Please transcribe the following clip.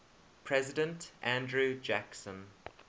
president andrew jackson